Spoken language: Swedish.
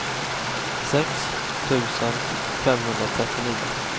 sex tusen femhundratrettionio